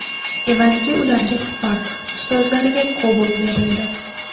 Evaziga ularga Spark, ustozlariga Cobalt berildi.